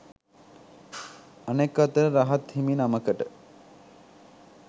අනෙක් අතට රහත් හිමි නමකට